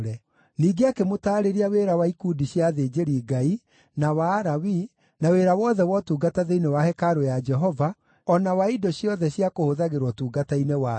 Ningĩ akĩmũtaarĩria wĩra wa ikundi cia athĩnjĩri-Ngai, na wa Alawii, na wĩra wothe wa ũtungata thĩinĩ wa hekarũ ya Jehova, o na wa indo ciothe cia kũhũthagĩrwo ũtungata-inĩ wayo.